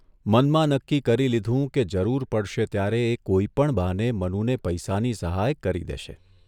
મનમાં નક્કી કરી લીધું કે જરૂર પડશે ત્યારે એ કોઇપણ બહાને મનુને પૈસાની સહાય કરી દેશે.